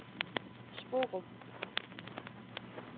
Sporup